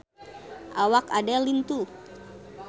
Awak Adele lintuh